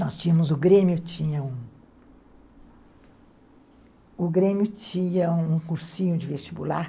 Nós tínhamos o Grêmio, tinha o o Grêmio tinha um cursinho de vestibular.